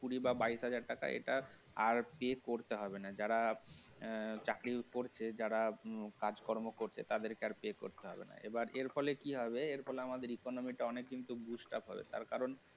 কুড়ি বা বাইশ হাজার টাকা এটা আর কি pay করতে হবে যারা কাজকর্ম করছে তাদেরকে আর pay করতে হবে না এর ফলে কি হবে এই ফলে আমাদের economy টা অনেক boost up হবে কারণ